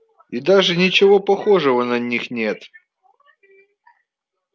и даже ничего похожего на них нет